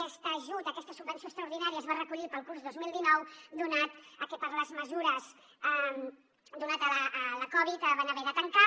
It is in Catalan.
aquest ajut aquesta subvenció extraordinària es va recollir per al curs dos mil dinou donat que per les mesures donades per la covid van haver de tancar